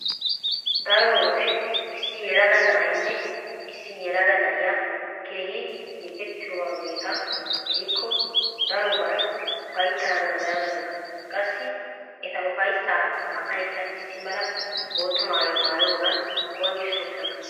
Daro wode issi yelaga na'aynne issi yelaga na'iya keehi siiqettiuageeta gidikko daroban ufayttana danddayoosona. Qassi eta ufayssaa naa"aykka issi mala bootta maayuwa maayiyogan qonccissoosona.